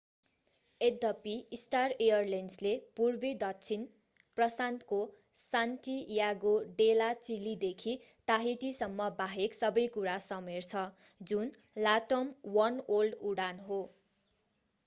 यद्यपि स्टार एलायन्सले पूर्वी दक्षिण प्रशान्तको सान्टियागो डे ला चिलीदेखि टाहिटीसम्म बाहेक सबै कुरा समेट्छ जुन latam वनवर्ल्ड उडान हो